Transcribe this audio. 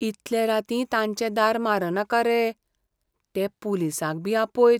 इतले रातीं तांचे दार मारनाका रे. ते पुलिसांक बी आपयत.